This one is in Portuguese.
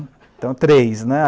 Então, três, né?